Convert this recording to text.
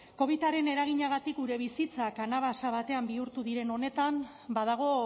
covidaren eraginagatik gure bizitza kanabasa batean bihurtu diren honetan badago